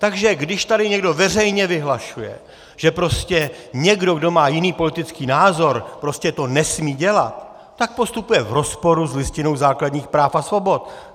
Takže když tady někdo veřejně vyhlašuje, že prostě někdo, kdo má jiný politický názor, prostě to nesmí dělat, tak postupuje v rozporu s Listinou základních práv a svobod.